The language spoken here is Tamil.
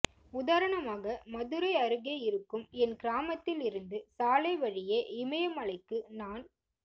உதாரணமாக மதுரை அருகே இருக்கும் என் கிராமத்தில் இருந்து சாலை வழியே இமயமலைக்கு நான்